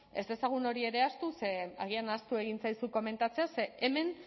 ez dezagun hori ere ahaztu ze agian ahaztu egin zaizu komentatzea ze hemen